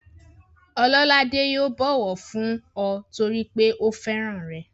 Ọlọ́ládé yóò bọ̀wọ̀ fún ọ torípé ó fẹ́ràn rẹ̀